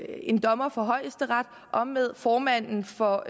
en dommer fra højesteret og med formanden for